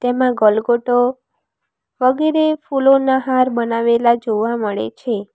એમાં ગલગોટો વગેરે ફૂલોના હાર બનાવેલા જોવા મળે છે.